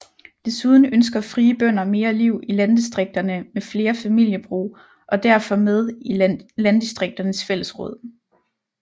Desuden ønsker Frie Bønder mere liv i landdistrikterne med flere familiebrug og er derfor med i Landdistrikternes Fællesråd